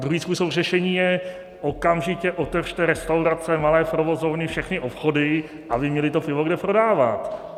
Druhý způsob řešení je - okamžitě otevřte restaurace, malé provozovny, všechny obchody, aby měly to pivo kde prodávat.